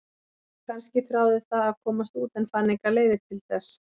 Kannski þráði það að komast út en fann engar leiðir til þess?